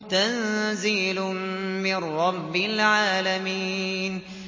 تَنزِيلٌ مِّن رَّبِّ الْعَالَمِينَ